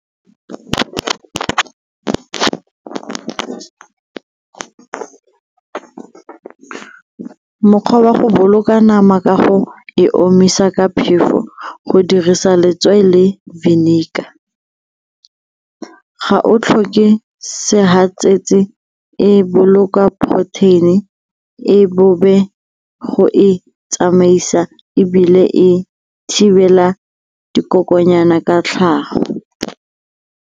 Mokgwa wa go boloka nama ka go e omisa ka phefo go dirisa letswai le vinegar. Ga o tlhoke segatsetsi, e boloka protein-e go e tsamaisa ebile e thibela dikokonyana ka tlhago.